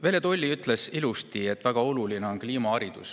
Velle Toll ütles ilusti, et väga oluline on kliimaharidus.